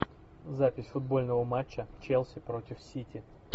запись футбольного матча челси против сити